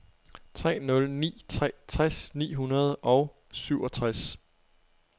tre nul ni tre tres ni hundrede og syvogtres